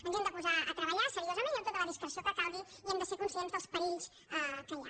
ens hi hem de posar a treballar seriosament i amb tota la discreció que calgui i hem de ser conscients dels perills que hi ha